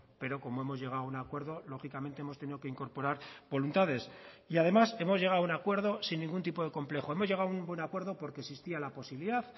pero como hemos llegado a un acuerdo lógicamente hemos tenido que incorporar voluntades y además hemos llegado a un acuerdo sin ningún tipo de complejo hemos llegado a un buen acuerdo porque existía la posibilidad